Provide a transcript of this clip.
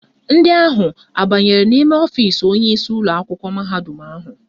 Ndị ahụ abanyere n'ime ọfisi onyeisi ụlọakwụkwọ mahadum ahụ?